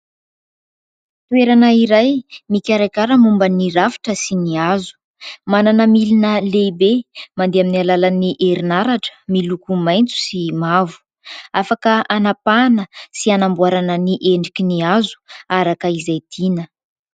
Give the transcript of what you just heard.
Toerana iray mikarakara momban'ny rafitra sy ny hazo. Manana milina lehibe, mandeha amin'ny alalan'ny herin'aratra, miloko maitso sy mavo ; afaka anapahana sy anamboarana ny endriky ny hazo araka izay tiana.